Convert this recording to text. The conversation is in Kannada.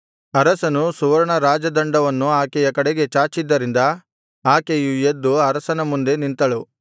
ಅರಸನು ಸುವರ್ಣ ರಾಜದಂಡವನ್ನು ಆಕೆಯ ಕಡೆಗೆ ಚಾಚಿದ್ದರಿಂದ ಆಕೆಯು ಎದ್ದು ಅರಸನ ಮುಂದೆ ನಿಂತಳು